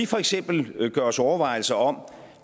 for eksempel gør sig overvejelser om